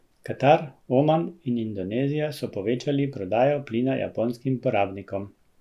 Katar, Oman in Indonezija so povečali prodajo plina japonskim porabnikom.